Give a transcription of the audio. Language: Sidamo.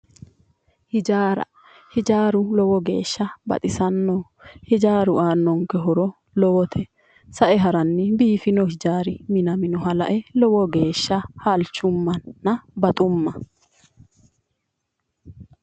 Hijaara hijaaru lowo geesha baxisannoho hijaaru aannonke horo lowote sa'e haranni biifino hijaari minaminoha la'e lowo geesha halchummanna baxumma